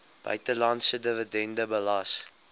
buitelandse dividende belas